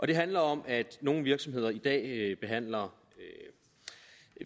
det handler om at nogle virksomheder i dag behandler